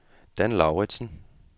Dan Lauritzen